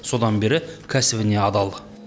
содан бері кәсібіне адал